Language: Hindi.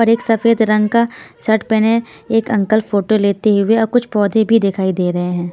पर एक सफेद रंग का शर्ट पहने एक अंकल फोटो लेते हुए और कुछ पौधे भी दिखाई दे रहे हैं ।